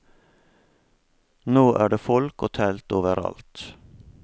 Nå er det folk og telt overalt.